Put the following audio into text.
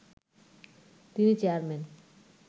তিনি চেয়ারম্যান